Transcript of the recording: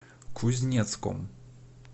кузнецком